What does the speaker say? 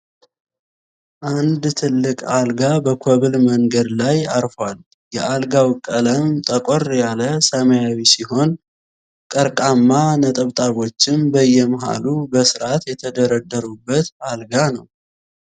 አንድ ትልቅ አልጋ በኮብል መንገድ መሬት ላይ አርፏል። የአልጋው ቀለም ጠቆር ያለ ሰማያዊ ሲሆን ቀርቃማ ነጠብጣቦችም በየመሃሉ በስራት የተደረደሩበት አልጋ ነው።